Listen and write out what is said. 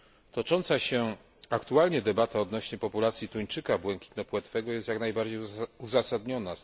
Tocząca się aktualnie debata odnośnie populacji tuńczyka błękitnopłetwego jest jak najbardziej uzasadniona.